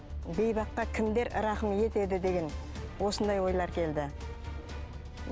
бейбаққа кімдер рақым етеді деген осындай ойлар келді